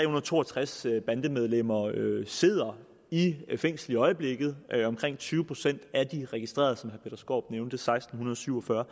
og to og tres bandemedlemmer sidder i fængsel i øjeblikket omkring tyve procent af de registrerede seksten syv og fyrre